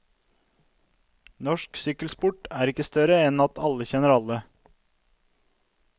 Norsk sykkelsport er ikke større enn at alle kjenner alle.